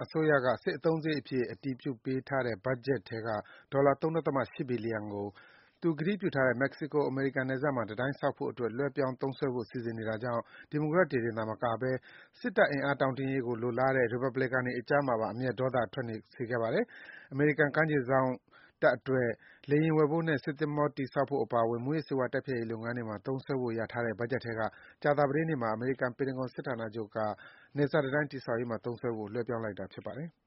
အစိုးရက စစ်အသုံးစရိတ်အဖြစ် အတည်ပြုပေးထားတဲ့ ဘတ်ဂျက်ထဲက ဒေါ်လာ ၃.၈ ဘီလီယံကို သူကတိပြုထားတဲ့ မက္ကဆီကို-အမေရိကန်နယ်စပ်မှာ တံတိုင်းဆောက်ဖို့အတွက် လွှဲပြောင်း သုံးစွဲဖို့ စီစဉ်နေတာကြောင့် ဒီမိုကရက်တွေတင်သာ မကဘဲ စစ်တပ်အင်အားတောင့်တင်းရေးကို လိုလားတဲ့ ရီပတ်ဘလီကန်တွေအကြားမှာပါ အမျက်ဒေါသ ထွက်စေခဲ့ပါတယ်။ အမေရိကန်ကမ်းခြေစောင့်တပ်အတွက် လေယာဉ်ဝယ်ဖို့နဲ့ သင်္ဘောတည်ဆောက်ဖို့အပါအဝင် မူးယစ်ဆေးဝါး တိုက်ဖျက်ရေး လုပ်ငန်းတွေမှာ သုံးစွဲဖို့ လျာထားတဲ့ ဘတ်ဂျက်ထဲက ကြာသပတေးနေ့မှာ အမေရိကန်စစ်ဌာနချုပ် ပင်တဂွန်က နယ်စပ်တံတိုင်းတည်ဆောက်ရေးမှာ သုံးစွဲဖို့ လွဲပြောင်းလိုက်တာ ဖြစ်ပါတယ်။